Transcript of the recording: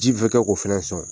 Ji kɛ k'o fɛnɛ sɔn.